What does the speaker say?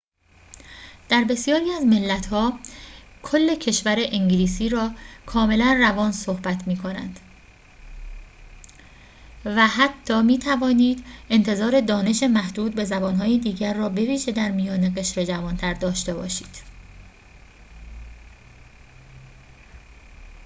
در بسیاری از ملت‌ها کل کشور انگلیسی را کاملاً روان صحبت می‌کنند و حتی می‌توانید انتظار دانش محدود به زبان‌های دیگر را بویژه در میان قشر جوانتر داشته باشید